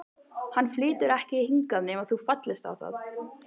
Hann flytur ekki hingað nema þú fallist á það.